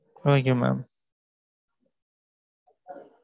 okay mam